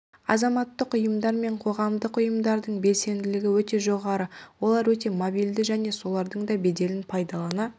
азаматтық ұйымдар мен қоғамдық ұйымдардың белсенділігі өте жоғары олар өте мобильді және солардың да беделін пайдалана